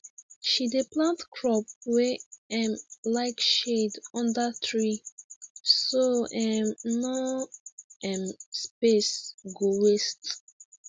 she dey plant crop wey um like shade under tree so um no um space go waste